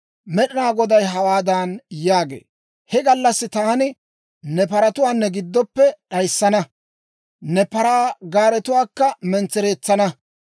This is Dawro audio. Med'ina Goday hawaadan yaagee; «He gallassi taani ne paratuwaa ne giddoppe d'ayissana; ne paraa gaaretuwaakka mentsereetsana.